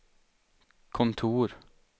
kontor